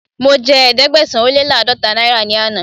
Mo jẹ Ẹ̀ẹ́dẹ̀gbẹ̀sán-ó-lé-láàdọ́ta náírà ní àná.